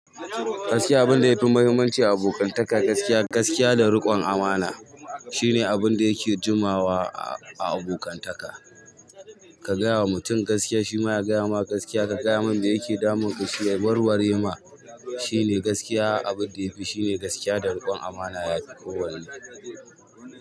Gaskiya abun da yafi muhimmanci a abokantaka, gaskiya, gaskiya da riƙon amana shine abun da yake jumawa a abokantaka. Ka gaya wa mutum gaskiya shi ma ya gaya ma gaskiya. Ka gaya mai me yake damun ka, shi ya war ware ma. Shine gaskiya abun da yafi, shine gaskiya da riƙon amana yafi kowane.